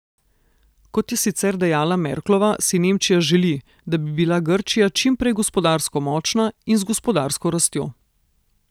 Kot je sicer dejala Merklova, si Nemčija želi, da bi bila Grčija čimprej gospodarsko močna in z gospodarsko rastjo.